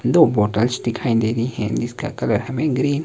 दो बोटल्स दिखाई दे रहीं हैं जिसका कलर हमें ग्रीन --